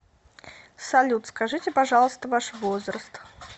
салют скажите пожалуйста ваш возраст